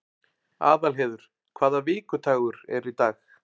Aðalheiður, hvaða vikudagur er í dag?